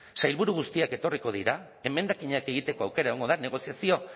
sailburu guztiak etorriko dira emendakinak egiteko aukera egongo da negoziazio